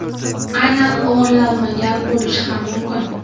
Aynan o‘g‘irlanmagan bo‘lishi ham mumkin.